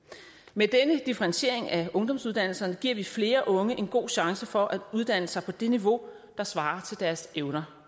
med denne differentiering af ungdomsuddannelserne giver vi flere unge en god chance for at uddanne sig på det niveau der svarer til deres evner